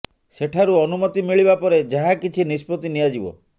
ସେଠାରୁ ଅନୁମତି ମିଳିବା ପରେ ଯାହା କିଛି ନିଷ୍ପତ୍ତି ନିଆଯିବ